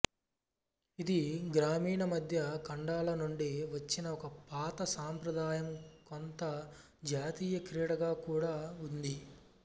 ఇది గ్రామీణ మధ్య ఖండాల నుండి వచ్చిన ఒక పాత సాంప్రదాయం కొంత జాతీయ క్రీడగా కూడా ఉంది